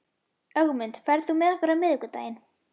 Ögmunda, ferð þú með okkur á miðvikudaginn?